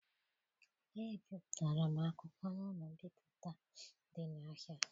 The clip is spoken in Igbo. Ebiụtara m akwụkwọ na ụlọ mbipụta dị n'ahia.